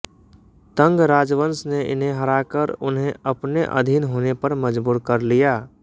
तंग राजवंश ने इन्हें हराकर उन्हें अपने अधीन होने पर मजबूर कर लिया